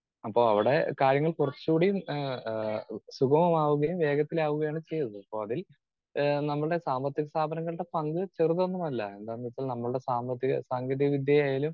Speaker 2 അപ്പോ അവിടെ കാര്യങ്ങൾ കുറച്ചുകൂടി ഏഹ് ആഹ് സുഗമമാവുകയും വേഗത്തിലാകുകയും ആണ് ചെയ്തത്. അപ്പോൾ അതിൽ നമ്മുടെ സാമ്പത്തിക സ്ഥാപനങ്ങളുടെ പങ്ക് ചെറുതൊന്നുമല്ല എന്താന്നുവെച്ചാൽ നമ്മളുടെ സാമ്പത്തിക സാങ്കേതികവിദ്യ ആയാലും